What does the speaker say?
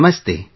Namaste